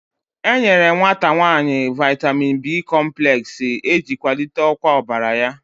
E nyere nwata nwanyị Vaitamin B kompulex, e ji kwalite ọkwa ọbara ya